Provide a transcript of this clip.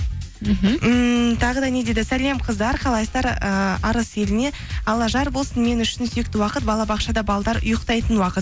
мхм ммм тағы да не дейді сәлем қыздар қалайсыздар ііі арыс еліне алла жар болсын мен үшін сүйікті уақыт балабақшада ұйықтайтын уақыт